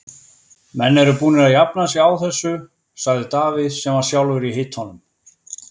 Menn eru búnir að jafna sig á þessu, sagði Davíð sem var sjálfur í hitanum.